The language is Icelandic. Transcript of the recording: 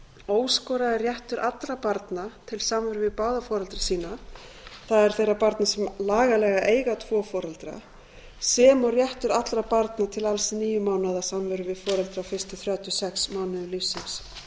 óskoraður réttur allra barna til samveru við báða foreldra sína það er þeirra barna sem lagalega eiga tvo foreldra sem og réttur allra barna til alls níu mánaða samveru við foreldri á fyrstu þrjátíu og sex mánuðum lífsins ég ætla